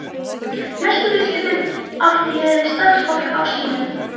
Mestu viðskiptin átti ég við samstarfsfólk á Símanum.